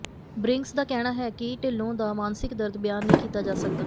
ਬਰਿੰਗਸ ਦਾ ਕਹਿਣਾ ਹਾ ਕਿ ਿਢਲੋਂ ਦਾ ਮਾਨਸਿਕ ਦਰਦ ਬਿਆਨ ਨਹੀਂ ਕੀਤਾ ਜਾ ਸਕਦਾ